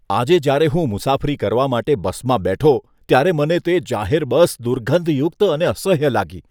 આજે જ્યારે હું મુસાફરી કરવા માટે બસમાં બેઠો ત્યારે મને તે જાહેર બસ દુર્ગંધયુક્ત અને અસહ્ય લાગી.